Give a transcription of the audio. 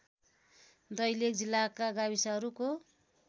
दैलेख जिल्लाका गाविसहरूको